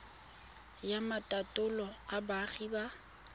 ya maitatolo a boagi ba